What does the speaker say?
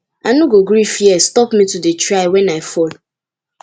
i no go gree fear stop me to dey try wen i fall